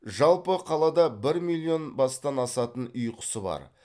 жалпы қалада бір миллион бастан асатын үй құсы бар